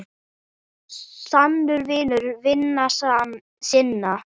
Sannur vinur vina sinna.